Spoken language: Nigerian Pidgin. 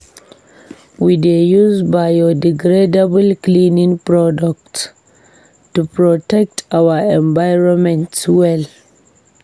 We dey use biodegradable cleaning products to protect our environment well.